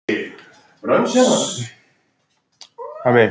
Það hefði ekki verið hægt í þessu tilviki?